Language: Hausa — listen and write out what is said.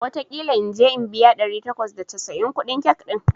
wataƙila in je in biya ɗari takwas da casa'in kuɗin cake ɗin